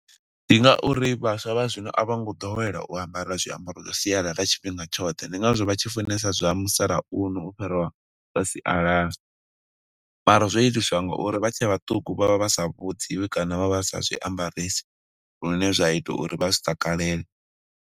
Ndi ngauri vhaswa vha zwino a vho ngo ḓowela u ambara zwiambaro zwa sialala tshifhinga tshoṱhe. Ndi nga zwo vha tshi funesa zwa musalauno u fhiriwa zwa sialala. Mara zwo itiswa nga uri vha tshe vhaṱuku vho vha vha sa vhudziwi, kana vha vha sa zwi ambaresi lune zwa ita uri vha zwi takalele.